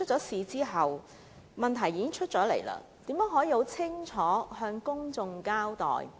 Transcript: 事發後，問題被揭露，政府應如何向公眾清楚交代？